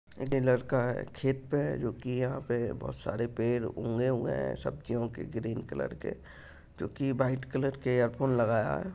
एक लड़का है खेत पे है जो की यहाँ पे बहुत सारे पेड़ उगे हुए हैं सब्जियों के ग्रीन कलर के जो की व्हाइट कलर के ईयरफोन लगाया है।